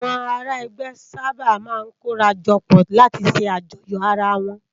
Awòn àrá ègbè sàbá má n kóràjòpò látì sè àjòyó àrá wòn